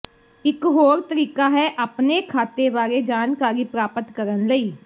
ਇਕ ਹੋਰ ਤਰੀਕਾ ਹੈ ਆਪਣੇ ਖਾਤੇ ਬਾਰੇ ਜਾਣਕਾਰੀ ਪ੍ਰਾਪਤ ਕਰਨ ਲਈ